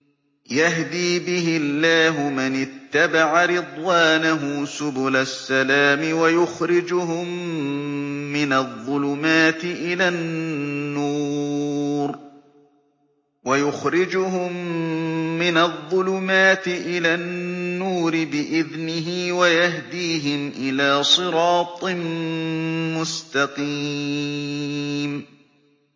يَهْدِي بِهِ اللَّهُ مَنِ اتَّبَعَ رِضْوَانَهُ سُبُلَ السَّلَامِ وَيُخْرِجُهُم مِّنَ الظُّلُمَاتِ إِلَى النُّورِ بِإِذْنِهِ وَيَهْدِيهِمْ إِلَىٰ صِرَاطٍ مُّسْتَقِيمٍ